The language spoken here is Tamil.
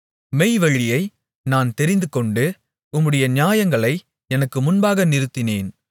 மெய்வழியை நான் தெரிந்துகொண்டு உம்முடைய நியாயங்களை எனக்கு முன்பாக நிறுத்தினேன்